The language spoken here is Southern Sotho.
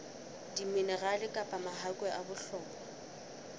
diminerale kapa mahakwe a bohlokwa